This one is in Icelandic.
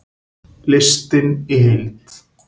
Listinn í heild